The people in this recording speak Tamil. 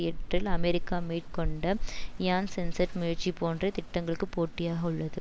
எட்டில் அமெரிக்கா மேற்கொண்ட இயான்சென்சட் முயற்சி போன்ற திட்டங்களுக்கு போட்டியாக உள்ளது